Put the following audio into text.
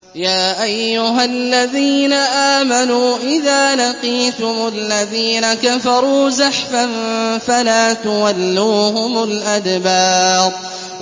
يَا أَيُّهَا الَّذِينَ آمَنُوا إِذَا لَقِيتُمُ الَّذِينَ كَفَرُوا زَحْفًا فَلَا تُوَلُّوهُمُ الْأَدْبَارَ